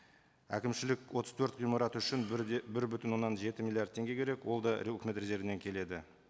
әкімшілік отыз төрт ғимарат үшін бір де бір бүтін оннан жеті миллиард теңге керек ол да үкімет резервінен келеді